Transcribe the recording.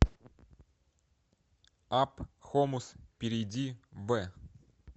апп хомус перейди в